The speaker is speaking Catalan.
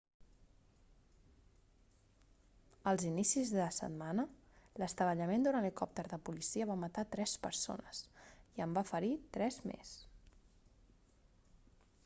als inicis de setmana l'estavellament d'un helicòpter de policia va matar tres persones i en va ferir tres més